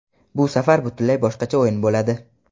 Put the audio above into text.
Bu safar butunlay boshqacha o‘yin bo‘ladi”.